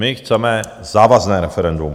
My chceme závazné referendum.